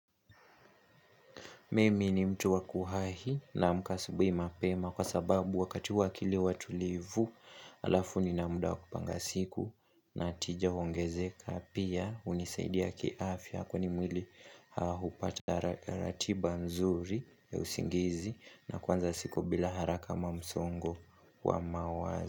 Mimi ni mtu wakuwahi naamka asubuhi mapema kwa sababu wakati huo akili huwa tulivu halafu nina muda wa kupanga siku na tija huongezeka pia unisaidia kiafya kwa ni mwili haupati ratiba nzuri ya usingizi na kuanza siku bila haraka ama msongo wa mawazo.